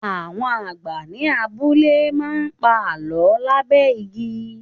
Àwọn àgbà ni abúlé má ń pa Àlọ́ lábẹ́ igi.